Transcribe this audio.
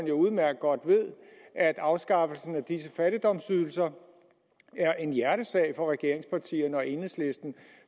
jo udmærket godt at afskaffelsen af de her fattigdomsydelser er en hjertesag for regeringspartierne og enhedslisten